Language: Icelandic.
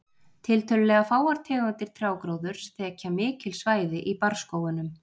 Tiltölulega fáar tegundir trjágróðurs þekja mikil svæði í barrskógunum.